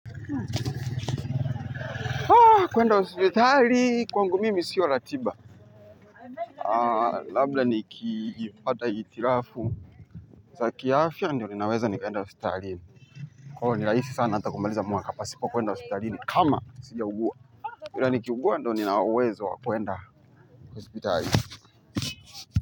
Kwenda hosipitali kwangu mimi siyo ratiba labla ni kifata itirafu za kiafia ndio ninaweza nikaenda hospitali kwa nilaifi sana natakumbaliza mwa kapa kwa kuenda hospitali kama sila uguwa kwa niki uguwa ndio ninaweza wakuenda hospitali.